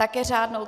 Také řádnou?